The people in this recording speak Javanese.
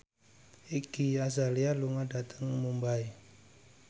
Iggy Azalea lunga dhateng Mumbai